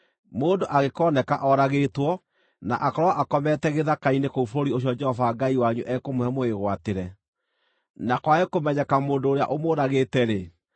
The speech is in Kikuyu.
Mũndũ angĩkooneka oragĩtwo, na akorwo akomete gĩthaka-inĩ kũu bũrũri ũcio Jehova Ngai wanyu ekũmũhe mũwĩgwatĩre, na kwage kũmenyeka mũndũ ũrĩa ũmũũragĩte-rĩ,